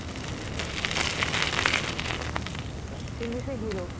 କିନ୍ତୁ ସେ hero